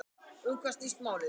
En um hvað snýst málið?